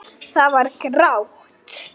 Það var grátt.